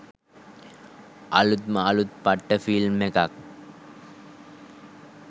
අළුත්ම අළුත් පට්ට ෆිල්ම් එකක්